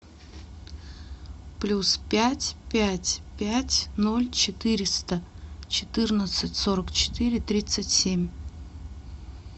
плюс пять пять пять ноль четыреста четырнадцать сорок четыре тридцать семь